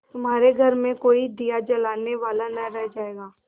तुम्हारे घर में कोई दिया जलाने वाला न रह जायगा